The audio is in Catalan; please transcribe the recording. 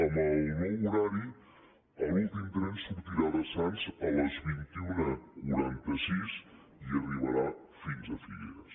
amb el nou horari l’últim tren sortirà de sants a les dos mil cent i quaranta sis i arribarà fins a figueres